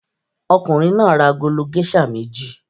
Ọkùnrin náà ra agolo géíṣà méjì.